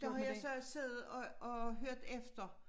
Der har jeg så siddet og og hørt efter